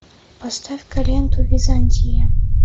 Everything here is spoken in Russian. поставь ка ленту византия